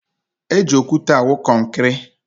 Eji okwute awụ kọnkịrị.